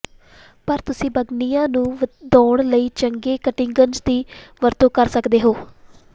ਪਰ ਤੁਸੀਂ ਬਾਗਨੀਆ ਨੂੰ ਵਧਾਉਣ ਲਈ ਚੰਗੇ ਕਟਿੰਗਜ਼ ਦੀ ਵਰਤੋਂ ਕਰ ਸਕਦੇ ਹੋ